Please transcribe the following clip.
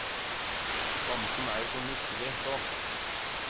Bamsen er jo så nusselig, så.